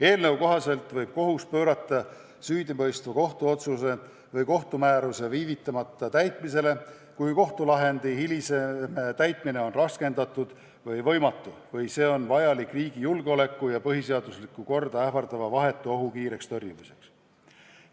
Eelnõu kohaselt võib kohus pöörata süüdimõistva kohtuotsuse või kohtumääruse viivitamata täitmisele, kui kohtulahendi hilisem täitmine on raskendatud või võimatu või kui see on vajalik riigi julgeolekut ja põhiseaduslikku korda ähvardava vahetu ohu kiireks tõrjumiseks.